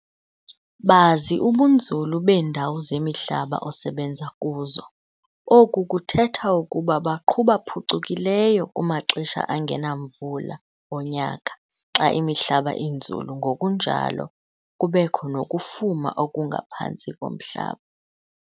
Bazi ubunzulu beendawo zemihlaba osebenza kuzo. Oku kuthetha ukuba baqhuba phucukileyo kumaxesha angenamvula onyaka xa imihlaba inzulu ngokunjalo kubekho nokufuma okungaphantsi komhlaba.